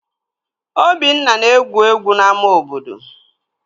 Obinna na-egwu egwu n'ámá obodo